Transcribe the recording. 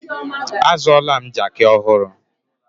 Azụọla m jaaki ọhụrụ.